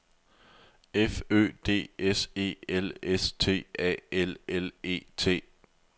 F Ø D S E L S T A L L E T